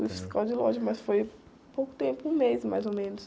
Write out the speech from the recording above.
Fui fiscal de loja, mas foi pouco tempo, um mês mais ou menos.